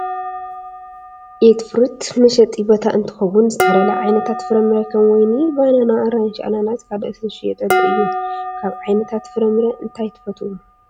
ኤትፍሩት መሸጢ ቦታ እንትከውን ዝተፈላለዩ ዓይነታት ፍራምረ ከም ወይኒን ባናና፣ ኣራንሺ፣ ኣናናስን ካልኦትን ዝሽየጠሉ እዩ። ካብ ዓይነታት ፍራምረ እንታይ ትፈትው?